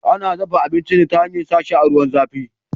Ana dafa abinci ne ta hanyar sa shi a ruwan zafi